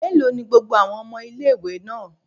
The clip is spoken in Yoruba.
Mélòó ni gbogbo àwọn ọmọ ilé-ìwé náà?